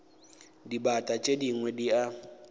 dibata tše dingwe di a